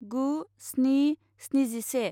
गु स्नि स्निजिसे